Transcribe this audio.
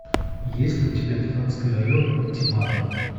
есть ли у тебя тринадцатый район ультиматум